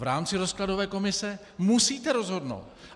V rámci rozkladové komise musíte rozhodnout!